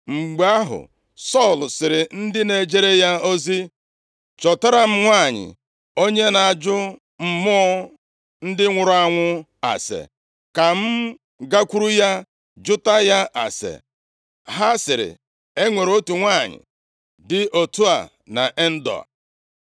Mgbe ahụ, Sọl sịrị ndị na-ejere ya ozi, “Chọtara m nwanyị onye na-ajụ mmụọ ndị nwụrụ anwụ ase, ka m gakwuru ya jụta ya ase.” Ha sịrị, “E nwere otu nwanyị dị otu a nʼEndoa.”